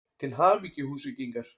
Til hamingju Húsvíkingar!!